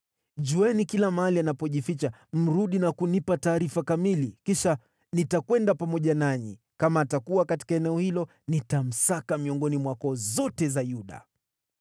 Jueni kila mahali anapojificha mrudi na kunipa taarifa kamili. Kisha nitakwenda pamoja nanyi; kama atakuwa katika eneo hilo, nitamsaka miongoni mwa koo zote za Yuda.”